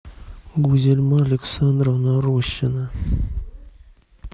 гузельма александровна рощина